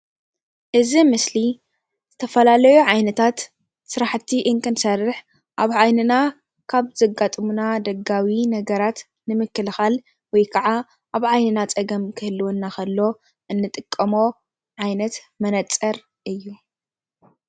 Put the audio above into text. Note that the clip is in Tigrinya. እዚ ምስሊ ዝተፈላለዩ ዓይነታት ስራሕቲ እንትንሰርሕ ኣብ ዓይንና ካብ ዘጋጥሙና ደጋዊ ነገራት ንምክልካል ወይ ከዓ ኣብ ዓይንና ፀገም ክህልወና ከሎ እንጥቀሞ ዓይነት መነፀር እዩ፡፡